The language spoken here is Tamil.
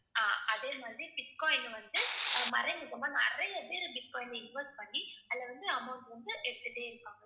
ஆஹ் அதே மாதிரி bitcoin அ வந்து அஹ் மறைமுகமா நிறைய பேர் bitcoin ல invest பண்ணி அதுல வந்து amount வந்து எடுத்துட்டே இருப்பாங்க.